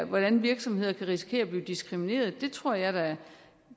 hvordan virksomheder kan risikere at blive diskrimineret tror jeg da